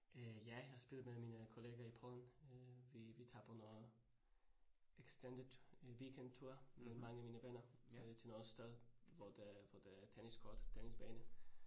Øh ja, jeg har spillet med mine kollegaer i Polen øh vi vi tager på noget extended øh weekend tour med mange af mine venner øh til noget sted, hvor der, hvor der tennis court tennisbane